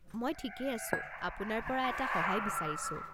মই ঠিকেই আছোঁ। আপোনাৰ পৰা এটা সহায় বিচাৰিছোঁ।